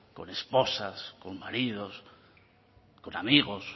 con esposas con maridos con amigos